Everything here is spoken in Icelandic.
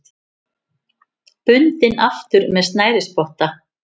Bundinn aftur með snærisspotta.